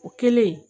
O kɛlen